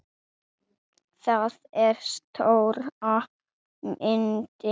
Það er stóra myndin.